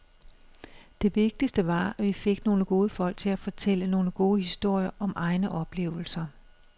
Det vigtigste var, at vi fik nogle gode folk til at fortælle nogle gode historier om egne oplevelser.